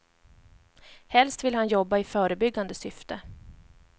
Helst vill han jobba i förebyggande syfte.